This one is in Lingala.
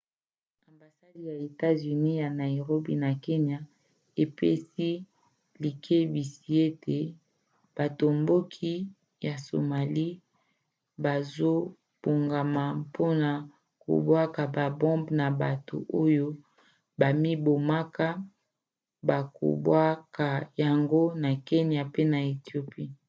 ambasade ya etats-unis ya nairobi na kenya epesi likebisi ete batomboki ya somalie bazobongama mpona kobwaka babombe na bato oyo bamibomaka bakobwaka yango na kenya pe na ethiopie